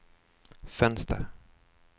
fönster